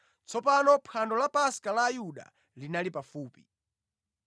Tsopano phwando la Paska la Ayuda linali pafupi.